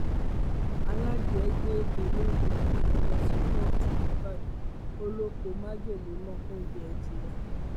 aládìẹ gbé olóúnjẹ adìẹ lọ sí kóòtù nìbàdàn ó lọ pọ májèlé mọ oúnjẹ adìẹ